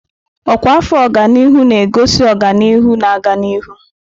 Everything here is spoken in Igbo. Ọkwa afọ ọganihu na-egosi ọganihu na-aga n'ihu.